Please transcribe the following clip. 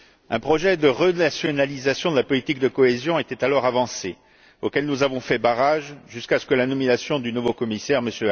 Un projet de renationalisation de la politique de cohésion était alors avancé, projet auquel nous avons fait barrage, jusqu'à ce que la nomination du nouveau commissaire, M.